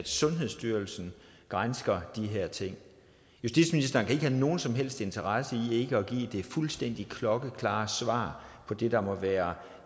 sundhedsstyrelsen gransker de her ting justitsministeren kan ikke have nogen som helst interesse i ikke at give det fuldstændig klokkeklare svar på det der må være